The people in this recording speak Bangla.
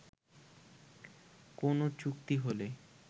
কোন চুক্তি হলে